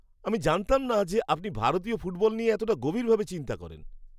আমি জানতাম না যে আপনি ভারতীয় ফুটবল নিয়ে এতটা গভীরভাবে চিন্তা করেন!